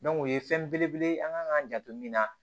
o ye fɛn belebele ye an kan k'an janto min na